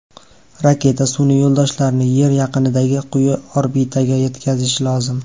Raketa sun’iy yo‘ldoshlarni Yer yaqinidagi quyi orbitaga yetkazishi lozim.